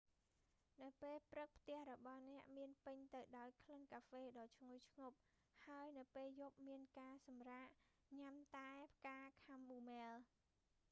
នៅពេលព្រឹកផ្ទះរបស់អ្នកមានពេញទៅដោយក្លិនកាហ្វេដ៏ឈ្ងុយឈ្ងុប ហើយនៅពេលយប់មានការសម្រាក់ញ៉ាំតែផ្កាខាំមូមែល